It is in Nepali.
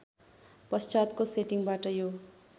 पश्चातको सेटिङबाट यो